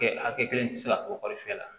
Kɛ hakɛ kelen tɛ se ka to kɔri fiyɛ la